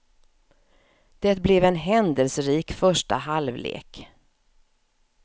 Det blev en händelserik första halvlek.